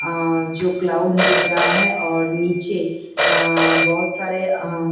अ जो क्लाउड दिख रहा है और नीचे बहुत सारे अ--